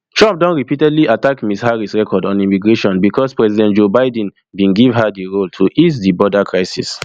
trump don repeatedly attack ms harris record onimmigration becos president joe biden bin give her di role to ease di border crisis